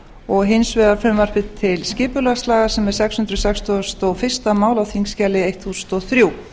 og hins vegar frumvarpi til skipulagslaga sem er sex hundruð sextugustu og fyrsta mál á þingskjali þúsund og þrjú